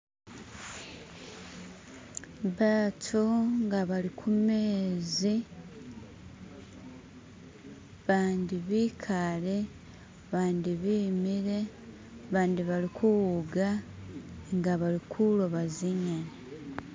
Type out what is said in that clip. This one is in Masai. Batu nga bali kumeezi bandi bikaale bandi bimile bandi balikuwuga nga balikuloba zinyeni